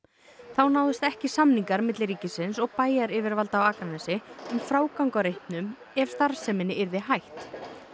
þá náðust ekki samningar milli ríkisins og bæjaryfirvalda á Akranesi um frágang á reitnum ef starfseminni yrði hætt